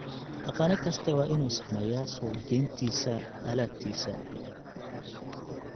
Dhaqane kasta waa inuu sameeyaa suuqgeyntiisa alaabtiisa.